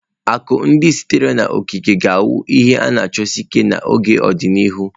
Akụ ndị sitere n'okike ga-awu ihe a na achọsi ike n'ọdịnihu.